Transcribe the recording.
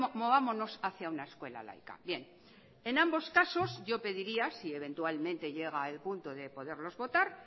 movámonos hacia una escuela laica bien en ambos casos yo pediría si eventualmente llega al punto de poderlos votar